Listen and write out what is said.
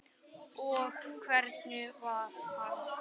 Og hvernig var hann?